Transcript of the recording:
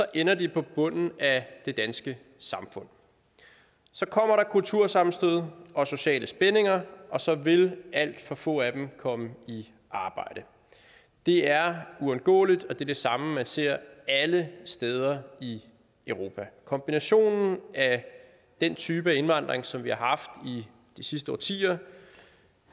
ender de på bunden af det danske samfund så kommer der kultursammenstød og sociale spændinger og så vil alt for få af dem komme i arbejde det er uundgåeligt og det er det samme man ser alle steder i europa kombinationen af den type af indvandring som vi har haft i de sidste årtier